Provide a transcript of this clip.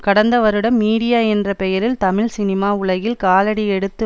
கடந்த வருடம் மீடியா என்ற பெயரில் தமிழ் சினிமா உலகில் காலடி எடுத்து